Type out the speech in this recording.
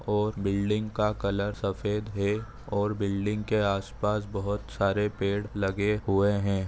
ओर building का colour सफ़ेद है और बिल्डिंग के आसपास बहुत सारे पेड़ लगे हुए है।